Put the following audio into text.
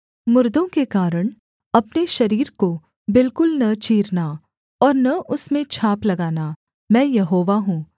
मुर्दों के कारण अपने शरीर को बिलकुल न चीरना और न उसमें छाप लगाना मैं यहोवा हूँ